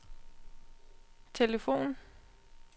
telefon